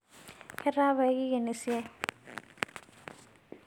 Ketaa payie kingen siai